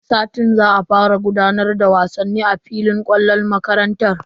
Wani satin za a fara gudanar da wasanni a filin kwallon makarantar.